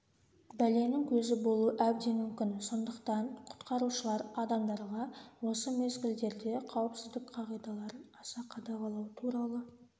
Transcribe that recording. бәленің көзі болуы әбден мүмкін сондықтан құтқарушылар адамдарға осы мезгілдерде қауіпсіздік қағидаларын аса қадағалау туралы